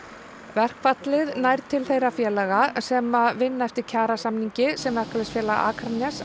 verkfallið nær til þeirra félaga sem vinna eftir kjarasamningi Verkalýðsfélags Akraness